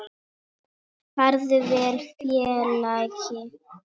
Farðu vel félagi.